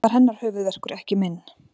Það var hennar höfuðverkur, ekki minn.